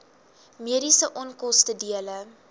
mediese onkoste dele